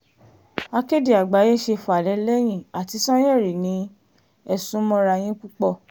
akéde àgbáyé ṣe fàlẹ́ lẹ́yìn àti sànyẹ̀rì ni ẹ sún mọ́ra yín púpọ̀